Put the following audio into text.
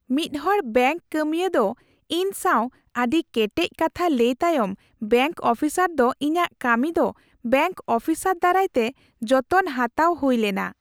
ᱢᱤᱫ ᱦᱚᱲ ᱵᱮᱝᱠ ᱠᱟᱹᱢᱤᱭᱟᱹ ᱫᱚ ᱤᱧ ᱥᱟᱶ ᱟᱹᱰᱤ ᱠᱮᱴᱮᱡ ᱠᱟᱛᱷᱟ ᱞᱟᱹᱭ ᱛᱟᱭᱚᱢ ᱵᱮᱝᱠ ᱚᱯᱷᱤᱥᱟᱨ ᱫᱚ ᱤᱧᱟᱹᱜ ᱠᱟᱹᱢᱤ ᱫᱚ ᱵᱮᱝᱠ ᱚᱯᱷᱤᱥᱟᱨ ᱫᱟᱨᱟᱭᱛᱮ ᱡᱚᱛᱚᱱ ᱦᱟᱛᱟᱣ ᱦᱩᱭ ᱞᱮᱱᱟ ᱾